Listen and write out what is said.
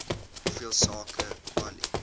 hoeveel sake kwali